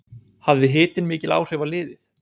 Hafði hitinn mikil áhrif á liðið?